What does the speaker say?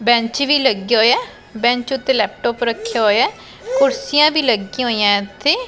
Bench ਵੀ ਲੱਗੇ ਹੋਏ ਆ ਬੈਂਚ ਉਤੇ ਲੈਪਟਾਪ ਰੱਖਿਆ ਹੋਇਆ ਕੁਰਸੀਆਂ ਵੀ ਲੱਗੀਆਂ ਹੋਈਆਂ ਇਥੇ।